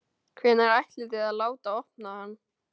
Hvenær ætlið þið að láta opna hann?